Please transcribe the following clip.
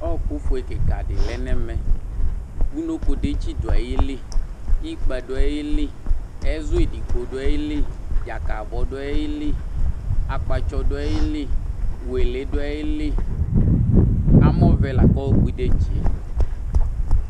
Ɔku foe kikaɖi lɛ nɛmɛ, unokoɖetsi ɗu ayili, ikpa ɗu ayili, ɛzu ẹɗigbo ɗu ayili, dzkabɔ ɗu ayili, akpatsɔ ɗu ayili, wele ɗu ayili Amɔvɛ lakɔkpɔ ɩɗetsie